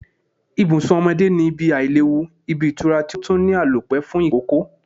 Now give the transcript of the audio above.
Ibùsùn omodé ni ibi Àìléwu, ibi ìtura ti otun ni Àlòpé fun ìkókó